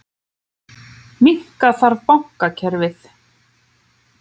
Minnka þarf bankakerfið